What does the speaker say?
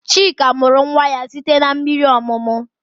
Chika mụrụ nwa ya site n'mmiri ọmụmụ